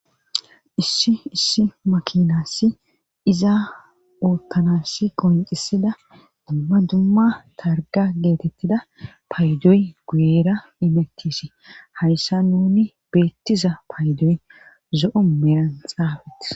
Issi issi makinassi izaa oottanass qoncisida dumma dumma targa geetettida paydoy guyera imettisi hayssa nuni beettiza paydoy zo7o meran xaafeti.